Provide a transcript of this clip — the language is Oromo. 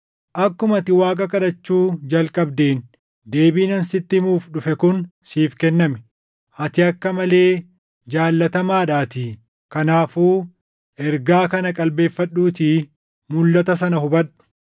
Akkuma ati Waaqa kadhachuu jalqabdeen deebiin ani sitti himuuf dhufe kun siif kenname; ati akka malee jaalatamaadhaatii. Kanaafuu ergaa kana qalbeeffadhuutii mulʼata sana hubadhu: